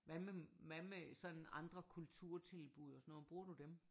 Hvad med hvad med sådan andre kulturtilbud og sådan noget bruger du dem?